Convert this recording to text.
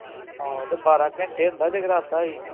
ਆਹੋ ਤੇ ਬਾਰਾਂ ਘੰਟੇ ਹੁੰਦਾ ਜਗਰਾਤਾ ਵੀ